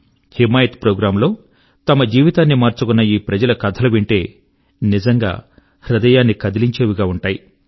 Himayat programme లో తమ జీవితాన్ని మార్చుకున్న ఈ ప్రజల కథలు వింటే నిజంగా హృదయాన్ని కదిలించేవి గా ఉంటాయి